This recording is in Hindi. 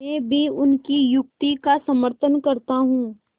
मैं भी उनकी युक्ति का समर्थन करता हूँ